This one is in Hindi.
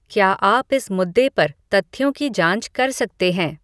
क्या आप इस मुद्दे पर तथ्यों की जाँच कर सकते हैं